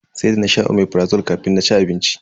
Sai da nasha Omeprazole kafin na ci abinci.